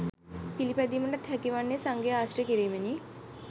පිළිපැදීමටත් හැකිවන්නේ සංඝයා ආශ්‍රය කිරීමෙනි.